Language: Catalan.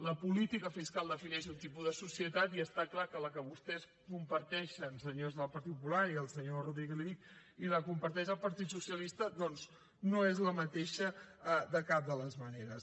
la política fiscal defineix un tipus de societat i està clar que la que vostès comparteixen senyors del partit popular i al senyor rodríguez li ho dic i la comparteix el partit socialista doncs no és la mateixa de cap de les maneres